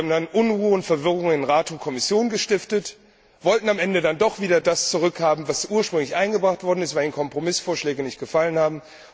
Sie haben dann Unruhe und Verwirrung in Rat und Kommission gestiftet, wollten am Ende dann doch wieder das zurückhaben, was ursprünglich eingebracht worden war, weil ihnen die Kompromissvorschläge nicht gefallen haben.